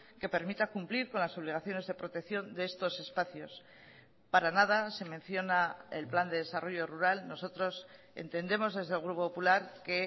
que permita cumplir con las obligaciones de protección de estos espacios para nada se menciona el plan de desarrollo rural nosotros entendemos desde el grupo popular que